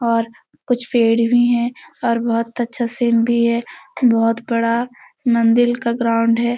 और कुछ पेड़ भी है और बहुत अच्छा सीन भी है बहुत बड़ा मंदिर का ग्राउंड है।